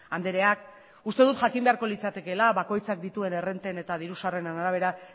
andreak uste dut jakin beharko litzatekeela bakoitzak dituen errenten eta diru sarreren arabera